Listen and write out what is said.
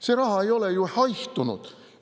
See raha ei ole ju haihtunud.